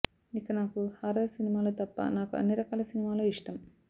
ఇక నాకు హారర్ సినిమాలు తప్ప నాకు అన్ని రకాల సినిమాలు ఇష్టం